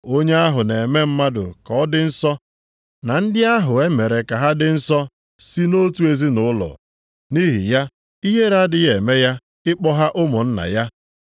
Onye ahụ na-eme mmadụ ka ọ dị nsọ, na ndị ahụ e mere ka ha dị nsọ si nʼotu ezinaụlọ. Nʼihi ya, ihere adịghị eme ya ịkpọ ha ụmụnna ya.